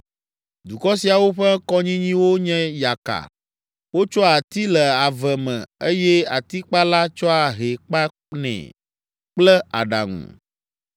Dukɔ siawo ƒe kɔnyinyiwo nye yaka. Wotsoa ati le ave me eye atikpala tsɔa hɛ kpanɛ kple aɖaŋu.